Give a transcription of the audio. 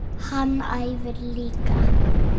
Hann æfir líka.